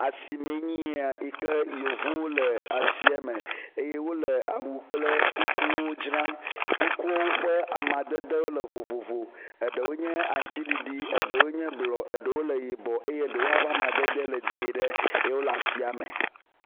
Asimee nye ya yi ke yevuwo le asia me eye wo le awu kple kukuwo dzram. Kuku ƒe amadedewo le vovovo. Eɖewoe nye aŋtsiɖiɖiɖ, eɖewo nye blɔ, eɖewo le yibɔ eye ɖewo hã ƒe amadede le dzie ɖe ye wo le asia me.